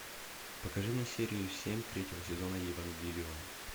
покажи мне серию семь третьего сезона евангелион